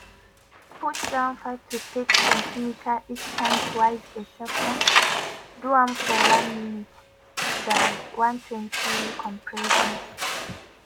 push down 5-6cm each time twice a second do am for 1 minute (120 compressions).